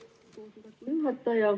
Aitäh, lugupeetud juhataja!